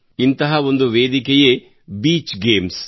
ಇಂತಹ ಒಂದು ವೇದಿಕೆಯೇ ಬೀಚ್ ಗೇಮ್ಸ್